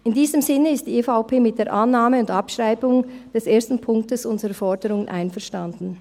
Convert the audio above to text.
In diesem Sinne ist die EVP mit der Annahme und Abschreibung des ersten Punkts unserer Forderungen einverstanden.